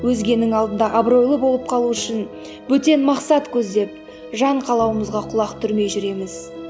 өзгенің алдында абыройлы болып қалу үшін бөтен мақсат көздеп жан қалауымызға құлақ түрмей жүреміз